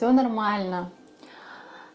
всё нормально